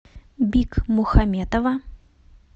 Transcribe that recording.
бикмухаметова